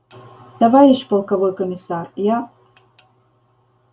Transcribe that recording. товарищ полковой комиссар я